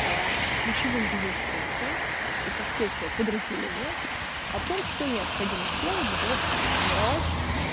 аа ключевым бизнес-функциям и как следствие подразделениям о том что необходимо сделать для того чтобы сформировать